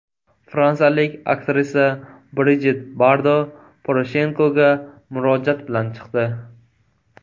Fransiyalik aktrisa Brijit Bardo Poroshenkoga murojaat bilan chiqdi.